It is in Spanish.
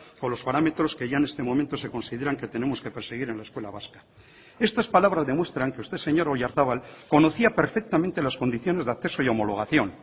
con los parámetros que ya en este momento se consideran que tenemos que perseguir en la escuela vasca estas palabras demuestran que usted señor oyarzabal conocía perfectamente las condiciones de acceso y homologación